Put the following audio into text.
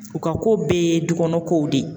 U ka ko bɛɛ ye dukɔnɔ kow de ye